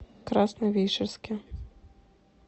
красновишерске